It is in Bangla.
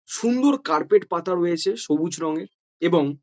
সুন্দর কার্পেট পাতা রয়েছে সবুজ রঙের। এবং--